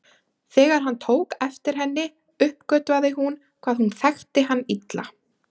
Þegar hann tók eftir henni uppgötvaði hún hvað hún þekkti hann illa.